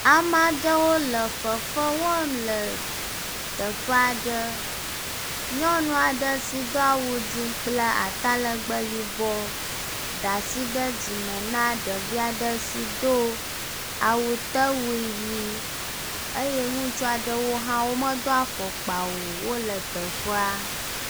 Amee aɖewo le fefe wɔm le teƒe aɖe. Nyɔnu aɖe si do awu dzi kple atalegbe yibɔ da asi ɖe dzima na ɖevi aɖe si do awutewui ʋi eye ŋutsu aɖewo hã wo medo afɔkpa o wo le teƒea.